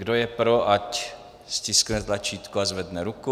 Kdo je pro, ať stiskne tlačítko a zvedne ruku.